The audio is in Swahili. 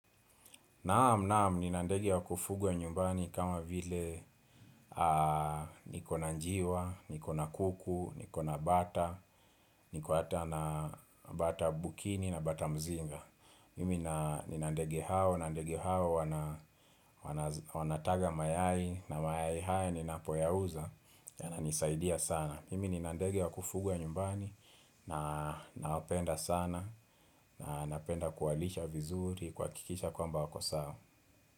Naam naam ni na ndege wa kufugwa nyumbani kama vile niko na njiwa, niko na kuku, niko na bata, niko hata na bata bukini na bata mzinga. Mimi na nina ndega hao, na ndeai hao wana wanazi wana taga mayai, na mayai haya ninapoyauza, yana nisaidia sana. Mimi nina ndege wa kufugwa nyumbani, na nawapenda sana, napenda kuwalisha vizuri, kuhakikisha kwamba wako sawa.